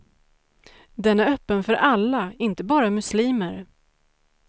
Den är öppen för alla, inte bara muslimer.